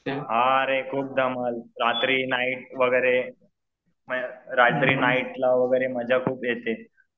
हां रे खूप धमाल रात्री नाईट वगैरे रात्री नाईटला वगैरे मजा खूप येते.